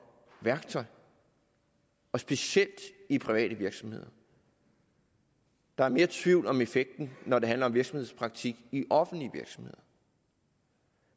værktøj og specielt i private virksomheder der er mere tvivl om effekten når det handler om virksomhedspraktik i offentlige virksomheder